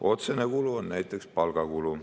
Otsene kulu on näiteks palgakulu.